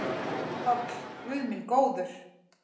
PÁLL: Guð minn góður!